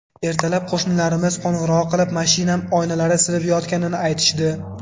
Ertalab qo‘shnilarimiz qo‘ng‘iroq qilib, mashinam oynalari sinib yotganini aytishdi.